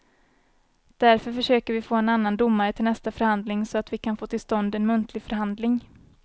Därför försöker vi få en annan domare till nästa förhandling så att vi kan få till stånd en muntlig förhandling.